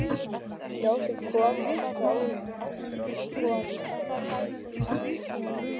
Ljósið kom og fór, kom og fór.